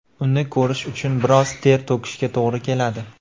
Uni ko‘rish uchun biroz ter to‘kishga to‘g‘ri keladi .